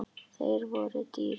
Þeir voru dýrir.